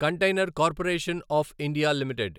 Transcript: container Corporation of India limited